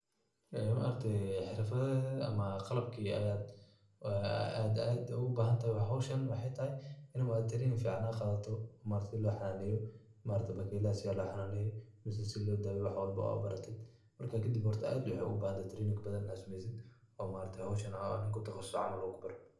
Xirfadeheda am qalabki ayad aad ogubahantay oo howshan wexey tahay ini maaragte training fican ad qadato oo maaragte sida loxananeyo oo bakeylaha sida loxananeyo mise sida lodaweyo wax walbo ad barata marka kadib aad aya waxa ubahanta training badan ad sameysid oo howshan ama nin kutaqasuse camal uu kubaro.